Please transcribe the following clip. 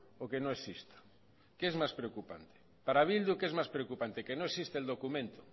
o que no exista qué es más preocupante para bildu qué es más preocupante que no existe el documento